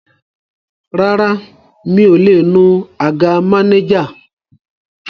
Rárá, mi ò lè nu àga mánéjà